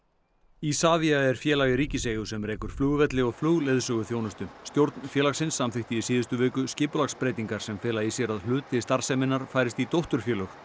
Isavia er félag í ríkiseigu sem rekur flugvelli og flugleiðsöguþjónustu stjórn félagsins samþykkti í síðustu viku skipulagsbreytingar sem fela í sér að hluti starfseminnar færist í dótturfélög